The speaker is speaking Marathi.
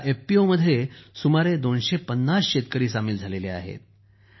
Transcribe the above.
या एफपीओमध्ये सुमारे 250 शेतकरी सामील झाले आहेत